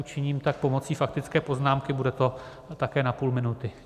Učiním tak pomocí faktické poznámky, bude to také na půl minuty.